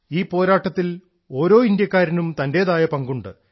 ഈ പോരാട്ടത്തിൽ ഓരോ ഇന്ത്യക്കാരനും തന്റെതായ പങ്കുണ്ട്